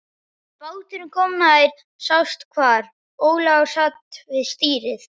Þegar báturinn kom nær sást hvar Ólafur sat við stýrið.